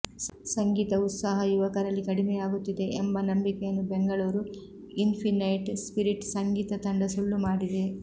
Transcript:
ಸಂಗೀತ ಉತ್ಸಾಹ ಯುವಕರಲ್ಲಿ ಕಡಿಮೆಯಾಗಿತ್ತಿದೆ ಎಂಬ ನಂಬಿಕೆಯನ್ನು ಬೆಂಗಳೂರು ಇನ್ಪಿನೈಟ್ ಸ್ಪಿರಿಟ್ ಸಂಗೀತ ತಂಡ ಸುಳ್ಳುಮಾಡಿದೆ